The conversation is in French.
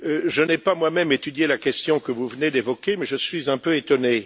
Je n'ai pas étudié la question que vous venez d'évoquer, mais je suis un peu étonné.